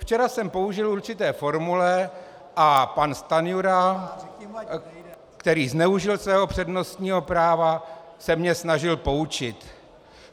Včera jsem použil určité formule a pan Stanjura, který zneužil svého přednostního práva, se mě snažil poučit.